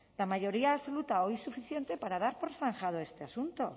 la mayoría absoluta hoy suficiente para dar por zanjado este asunto